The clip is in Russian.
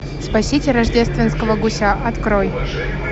спасите рождественского гуся открой